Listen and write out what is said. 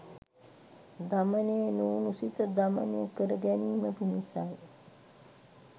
දමනය නොවුණු සිත දමනය කරගැනීම පිණිසයි.